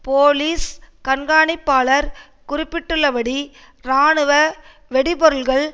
police கண்கானிப்பாளர் குறிப்பிட்டுள்ளபடி இராணுவ வெடிப்பொருட்கள்